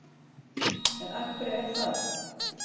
En af hverju er það?